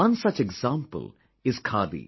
One such example is Khadi